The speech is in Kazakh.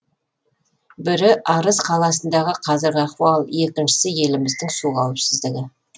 бірі арыс қаласындағы қазіргі ахуал екіншісі еліміздің су қауіпсіздігі